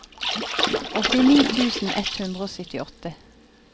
åttini tusen ett hundre og syttiåtte